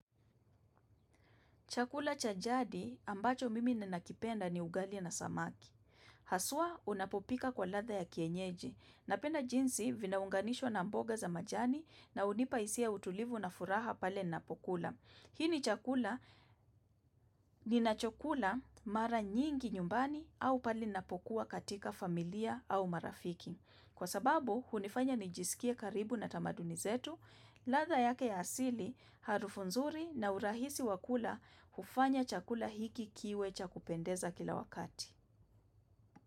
Chakula cha jadi ambacho mimi ninakipenda ni ugali na samaki. Haswa unapopika kwa ladha ya kienyeji. Napenda jinsi vinaunganishwa na mboga za majani na hunipa hisia, utulivu na furaha pale ninapokula. Hii ni chakula ninachokula mara nyingi nyumbani au pale ninapokuwa katika familia au marafiki. Kwa sababu, hunifanya nijisikie karibu na tamaduni zetu, ladha yake ya asili, harufu nzuri na urahisi wa kula hufanya chakula hiki kiwe cha kupendeza kila wakati.